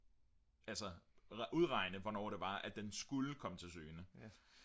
altså udregne hvornår det var at den skulle komme til syne